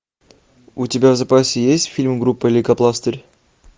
у тебя в запасе есть фильм группа лейкопластырь